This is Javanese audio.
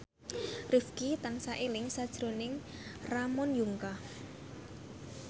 Rifqi tansah eling sakjroning Ramon Yungka